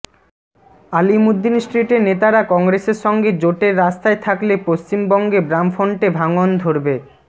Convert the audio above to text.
আলিমুদ্দিন স্ট্রিটের নেতারা কংগ্রেসের সঙ্গে জোটের রাস্তায় থাকলে পশ্চিমবঙ্গে বামফ্রন্টে ভাঙন ধরবে